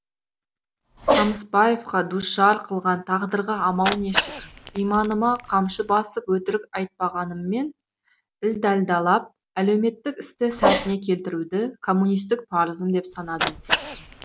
қамысбаевқа душар қылған тағдырға амал нешік иманыма қамшы басып өтірік айтпағаныммен ілдалдалап әлеуметтік істі сәтіне келтіруді коммунистік парызым деп санадым